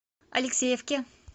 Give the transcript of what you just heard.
алексеевке